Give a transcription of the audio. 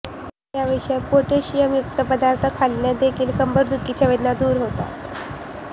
याशिवाय पोटॅशियम युक्त पदार्थ खाल्ल्याने देखील कंबरदुखीच्या वेदना दूर होतात